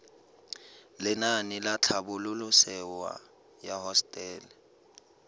lenaane la tlhabololosewa ya hosetele